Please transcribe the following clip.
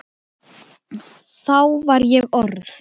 Þá var ég orð